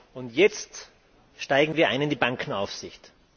Und jetzt steigen wir ein in die Bankenaufsicht.